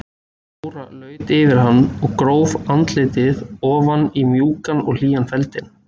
Jóra laut yfir hann og gróf andlitið ofan í mjúkan og hlýjan feldinn.